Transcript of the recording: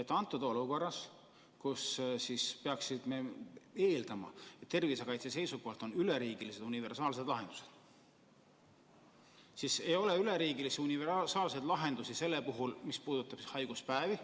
Praeguses olukorras, kus peaks eelduste kohaselt kehtima tervisekaitse seisukohalt üleriigilised universaalsed lahendused, ei ole selliseid üleriigilisi universaalseid lahendusi, mis puudutaks haiguspäevi.